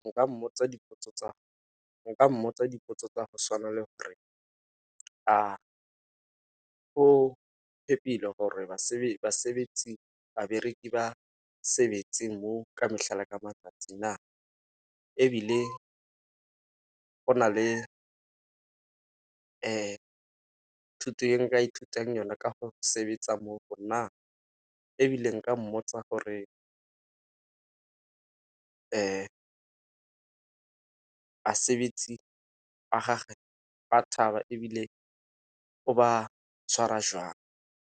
Nka mmotsa dipotso tsa go tshwana le gore a go phephile gore ba sebetsi, babereki ba sebetse mo ka mehla le ka matsatsi na. Ebile go na le thuto ya nka ithutang yone ka go sebetsa mo go na, ebile nka mmotsa gore ba sebetsi ba gagwe ba thaba ebile o ba tshwara jwang.